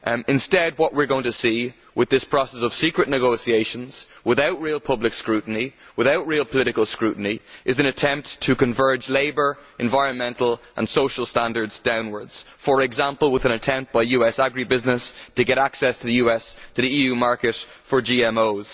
Instead, what we are going to see with this process of secret negotiations without real public scrutiny without real political scrutiny is an attempt to converge labour, environmental and social standards downwards, for example with an attempt by US agri business to get access to the EU market for GMOs.